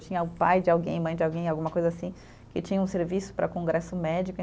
Tinha o pai de alguém, mãe de alguém, alguma coisa assim, que tinha um serviço para congresso médico.